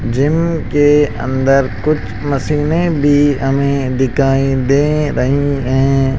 Gym के अंदर कुछ मशीने भी हमें दिखाई दे रही हैं।